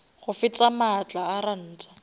go feta maatla a ranta